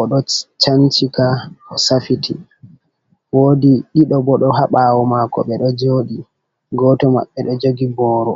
o ɗo cancika, o safiti, woodi ɗiɗo bo ɗo haa ɓaawo maako ɓe ɗo jooɗi, gooto maɓɓe ɗo jogi booro.